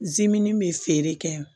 bɛ feere kɛ